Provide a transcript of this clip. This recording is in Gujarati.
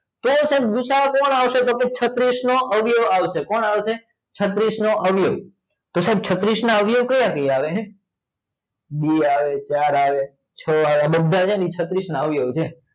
તો સાહેબ ભૂસા કોણ આવશે? તો કે છત્રીસ નો અવયવ આવશે? કોણ આવશે? છત્રીસ નો અવયવ તો સાહેબ છત્રીસ ના અવયવો કયા આવે ને બે આવે ચાર આવે છ આવે બધા છે ને છત્રીસ ના અવયવ છે